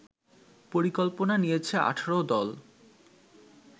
পরিকল্পনা নিয়েছে ১৮ দল